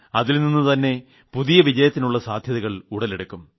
അതിൽ നിന്നു തന്നെ പുതിയ വിജയത്തിനുളള സാധ്യതകൾ ഉടലെടുക്കും